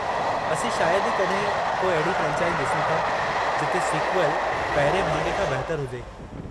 असीं शायदि ई कॾहिं को अहिड़ी फ्रेंचाइज़ ॾिसूं था जिथे सीक्वल पहिरिएं भाङे खां बहितरु हुजे।